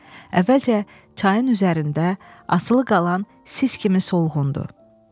Əvvəlcə çayın üzərində asılı qalan sis kimi solğundur.